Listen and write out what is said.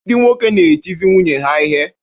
Ndị nwoke na-etizi nwunye ha ihe.